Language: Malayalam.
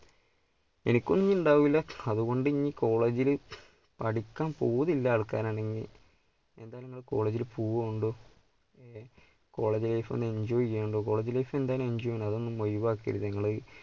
എനിക്കൊന്നും ഉണ്ടാവില്ല അതുകൊണ്ട് ഇനി college ല് പഠിക്കാൻ പൂതിയുള്ള ആൾക്കാരാണെങ്കിൽ എന്തായാലും നിങ്ങൾ college പോകോണ്ടു college life enjoy ചെയ്യണം college life എന്തായാലും enjoy ചെയ്യണം, അത് ഒന്നും ഒഴിവാക്കരുത് നിങ്ങള്